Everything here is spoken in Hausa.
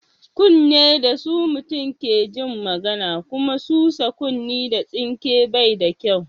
Kunne da su mutum ke jin magana kuma sosa kunne da tsinke bai da kyau.